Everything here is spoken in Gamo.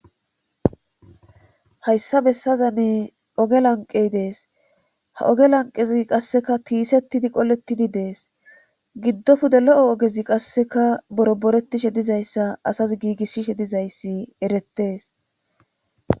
hayssa bessazanne oge lanqey dees ha oge lanqezi qasseka tiisettidi qolettidi dees giddopude lo7o ogezi qasseka boro boretishe dizayssa asas giigisshishe dizayssi erettees